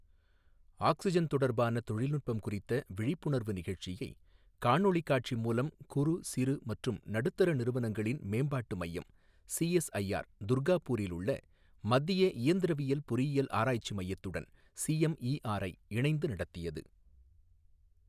Oxygen தொடர்பான தொழில்நுட்பம் குறித்த விழிப்புணர்வு நிகழ்ச்சியை, காணொலி காட்சி மூலம் குறு, சிறு மற்றும் நடுத்தர நிறுவனங்களின் மேம்பாட்டு மையம் சிஎஸ்ஐஆர் துர்காபூரில் உள்ள மத்திய இயந்திரவியல் பொறியியல் ஆராய்ச்சி மையத்துடன் சிஎம்இஆர்ஐ இணைந்து நடத்தியது.